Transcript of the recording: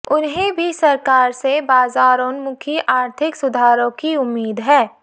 उन्हें भी सरकार से बाजारोन्मुखी आर्थिकसुधारों की उम्मीद है